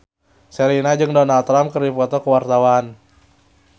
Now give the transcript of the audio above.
Sherina jeung Donald Trump keur dipoto ku wartawan